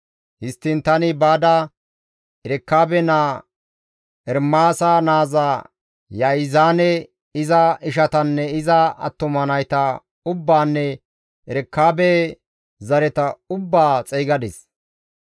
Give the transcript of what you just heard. Histtiin tani baada Erekaabe naa, Ermaasa naaza Ya7izaane, iza ishatanne iza attuma nayta ubbaanne Erekaabe zareta ubbaa xeygadis.